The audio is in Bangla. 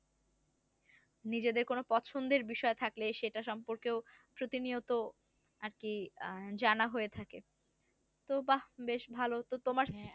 নিজদের কোন পছন্দের বিষয় থাকলে সেটা সম্পর্কেও প্রতিনিয়ত আরকি আহ জানা হয়ে থাকে তো বাহ বেশ ভালো তো তোমার